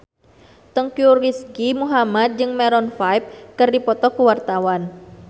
Teuku Rizky Muhammad jeung Maroon 5 keur dipoto ku wartawan